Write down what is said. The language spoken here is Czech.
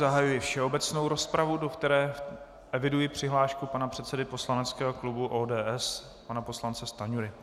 Zahajuji všeobecnou rozpravu, do které eviduji přihlášku pana předsedy poslaneckého klubu ODS, pana poslance Stanjury.